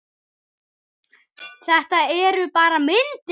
Þetta eru bara myndir!